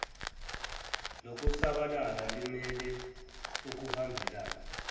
lokusabalala limele ukuhambelana